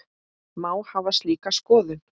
Má hafa slíka skoðun?